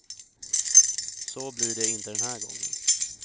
Så blir det inte den här gången.